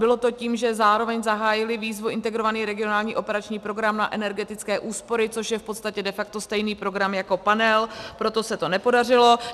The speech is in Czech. Bylo to tím, že zároveň zahájili výzvu Integrovaný regionální operační program na energetické úspory, což je v podstatě de facto stejný program jako Panel, proto se to nepodařilo.